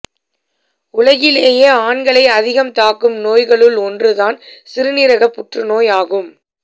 உலகிலேயே ஆண்களை அதிகம் தாக்கும் நோய்களுள் ஒன்று தான் சிறுநீரக புற்றுநோய் ஆகும்